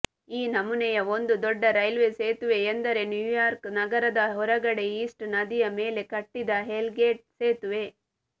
ಈ ನಮೂನೆಯ ಒಂದು ದೊಡ್ಡ ರೈಲ್ವೆಸೇತುವೆ ಎಂದರೆ ನ್ಯೂಯಾರ್ಕ್ ನಗರದ ಹೊರಗಡೆ ಈಸ್ಟ್ ನದಿಯ ಮೇಲೆ ಕಟ್ಟಿದ ಹೆಲ್ಗೇಟ್ ಸೇತುವೆ